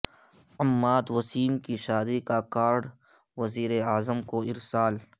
عماد وسیم کی شادی کا کارڈ وزیر اعظم کو ارسال